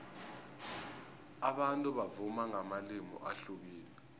abantu bavuma ngamalimi ahlukileko